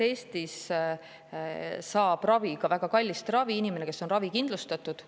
Eestis saab ravi, ka väga kallist ravi, inimene, kes on ravikindlustatud.